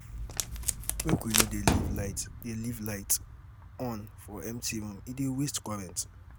Make we no dey leave light dey leave light on for empty room, e dey waste current.